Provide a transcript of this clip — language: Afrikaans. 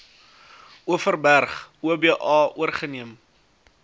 overberg oba oorgeneem